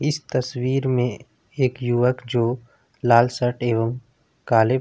इस तस्वीर में एक युवक जो लाल शर्ट एवम काले--